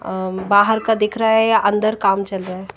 अ बाहर का दिख रहा है या अंदर काम चल रहा है।